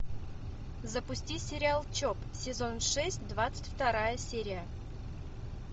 запусти сериал чоп сезон шесть двадцать вторая серия